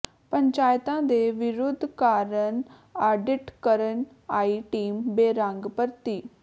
ਪੰਚਾਇਤਾਂ ਦੇ ਵਿਰੋਧ ਕਾਰਨ ਆਡਿਟ ਕਰਨ ਆਈ ਟੀਮ ਬੇਰੰਗ ਪਰਤੀ